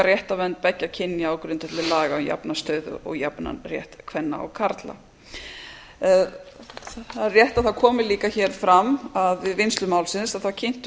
réttarvernd beggja kynja á grundvelli laga um jafna stöðu og jafnan rétt kvenna og karla það er rétt að það komi líka hér fram að við vinnslu málsins kynntum við